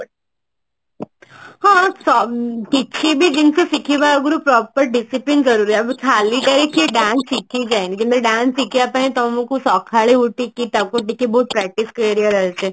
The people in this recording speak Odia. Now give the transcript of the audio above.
ହଁ କିଛି ବି ଜିନିଷ ଶିଖିବା ଆଗରୁ proper discipline ଜରୁରୀ ଆଉ ଖାଲି ଟାରେ କିଏ dance ଶିଖି ଯାଏନି କି dance ଶିଖିବା ପାଇଁ ତମକୁ ସଖାଳୁ ଉଠିକି ତାକୁ ଟିକେ ବହୁତ practice କରିବାର ଅଛି